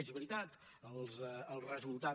és veritat el resultat